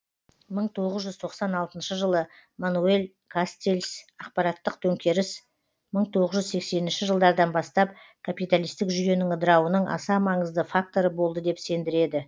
мың тоғыз жүз тоқсан алтыншы жылы мануэль кастельс ақпараттық төңкеріс мың тоғыз жүз сексенінші жылдардан бастап капиталистік жүйенің ыдырауының аса маңызды факторы болды деп сендіреді